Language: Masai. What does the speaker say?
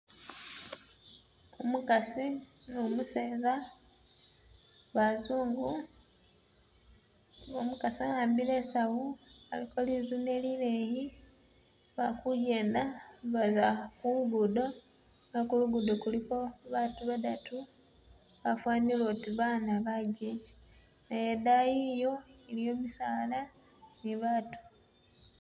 Umukasi ni umuseza bazungu umukasi ahambile isawu aliko lizune lileyi balikujenda baza kulugudo nenga kulugudo kuliko baatu badatu bafanile uti bana bajeche ni dayi iyo iliyo misaala ni baatu.